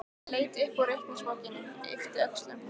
Ég leit upp úr reikningsbókinni, yppti öxlum.